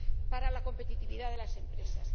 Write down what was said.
para la competitividad de las empresas.